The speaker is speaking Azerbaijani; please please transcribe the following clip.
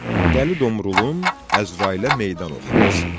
Dəli Domrulun Əzrailə meydan oxuması.